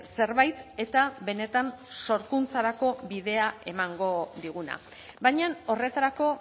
zerbait eta benetan sorkuntzarako bidea emango diguna baina horretarako